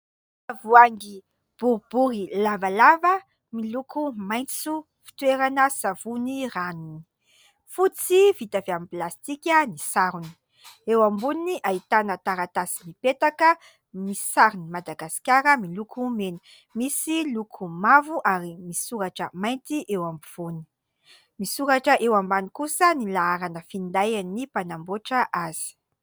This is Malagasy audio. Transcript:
Tavoahangy boribory lavalava miloko maitso, fitoerana savony ranony. Fotsy vita avy amin'ny plastika ny sarony, eo amboniny ahitana taratasy mipetaka misy sarin'i Madagasikara miloko mena, misy loko mavo ary misy soratra mainty eo ampovoany, misoratra eo ambany kosa ny laharana findain'ny mpanamboatra azy.